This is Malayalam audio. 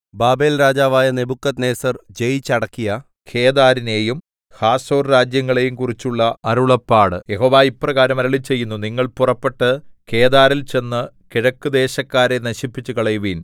ബാബേൽരാജാവായ നെബൂഖദ്നേസർ ജയിച്ചടക്കിയ കേദാരിനെയും ഹാസോർരാജ്യങ്ങളെയും കുറിച്ചുള്ള അരുളപ്പാട് യഹോവ ഇപ്രകാരം അരുളിച്ചെയ്യുന്നു നിങ്ങൾ പുറപ്പെട്ട് കേദാരിൽ ചെന്ന് കിഴക്കുദേശക്കാരെ നശിപ്പിച്ചുകളയുവിൻ